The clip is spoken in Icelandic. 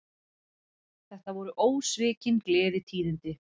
Þetta voru ósvikin gleðitíðindi